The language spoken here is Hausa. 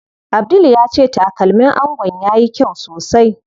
Abdul ya ce takalmin angon yayi kyau sosai.